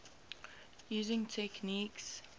using techniques